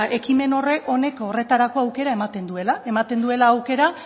ekimen honek horretarako aukera ematen duela ematen duela aukera